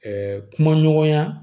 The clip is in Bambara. kuma ɲɔgɔnya